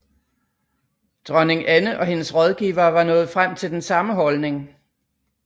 Dronning Anne og hendes rådgivere var nået frem til den samme holdning